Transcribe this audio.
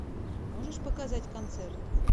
можешь показать концерт